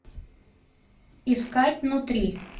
искать внутри